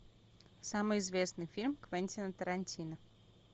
самый известный фильм квентина тарантино